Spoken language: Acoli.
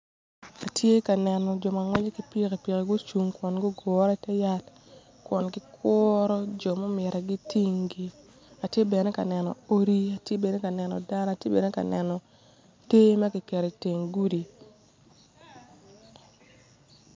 Atye ka neno jo ma ngweco ki pikipiki gucung kun gugure ite yat kun gikuro jo ma omyero gitinggi atye bene ka neno odi atye bene ka neno dano atye bene ka neno tee ma kiketo iteng gudi.